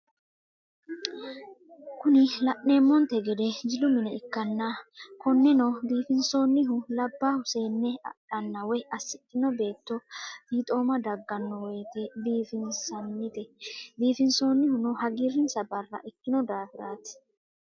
Kuni lanemonite gede jilu mine ikana koneno bifinisonihuno labbahu seene adhena woy asidhino betto fittoma dagannowoyitte biffinisanite bifinisonihuno hagirinisa barra ikino daffirti